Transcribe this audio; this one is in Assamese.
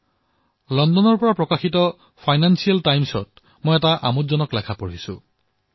মই লণ্ডনৰ পৰা প্ৰকাশিত ফিনান্সিয়েল টাইমছৰ এটা লেখা পঢ়ি আছিলো